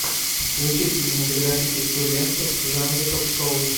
включи кинематографическую ленту в жанре ток шоу